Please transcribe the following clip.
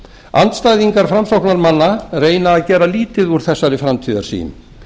andstæðingar framsóknarmanna reyna að gera lítið úr þessari framtíðarsýn